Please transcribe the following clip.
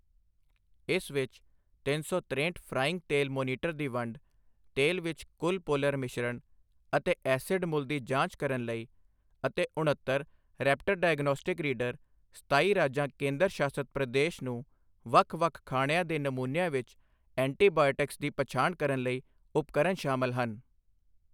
ਇਸ ਵਿੱਚ ਤਿੰਨ ਸੌ ਤਰੇਹਠ ਫ੍ਰਾਈਇੰਗ ਤੇਲ ਮੋਨੀਟਰ ਦੀ ਵੰਡ, ਤੇਲ ਵਿੱਚ ਕੁੱਲ ਪੋਲਰ ਮਿਸ਼ਰਣ ਅਤੇ ਐਸਿਡ ਮੁੱਲ ਦੀ ਜਾਂਚ ਕਰਨ ਲਈ ਅਤੇ ਉਣੱਤਰ ਰੈਪਟਰ ਡਾਇਗਨੋਸਟਿਕ ਰੀਡਰ, ਸਤਾਈ ਰਾਜਾਂ ਕੇਂਦਰ ਸ਼ਾਸਤ ਪ੍ਰਦੇਸ਼ ਨੂੰ ਵੱਖ ਵੱਖ ਖਾਣਿਆਂ ਦੇ ਨਮੂਨਿਆਂ ਵਿੱਚ ਐਂਟੀਬਾਇਓਟਿਕਸ ਦੀ ਪਛਾਣ ਕਰਨ ਲਈ ਉਪਕਰਨ ਸ਼ਾਮਲ ਹਨ।